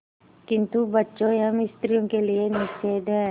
किंतु बच्चों एवं स्त्रियों के लिए निषेध है